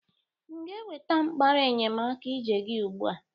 M ga-eweta mkpara enyemakiije gi ugbu a?